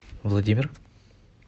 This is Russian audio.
владимир